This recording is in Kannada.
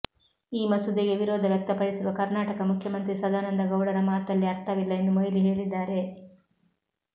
ಈ ಮಸೂದೆಗೆ ವಿರೋಧ ವ್ಯಕ್ತಪಡಿಸಿರುವ ಕರ್ನಾಟಕ ಮುಖ್ಯಮಂತ್ರಿ ಸದಾನಂದ ಗೌಡರ ಮಾತಲ್ಲಿ ಅರ್ಥವಿಲ್ಲ ಎಂದು ಮೊಯ್ಲಿ ಹೇಳಿದ್ದಾರೆ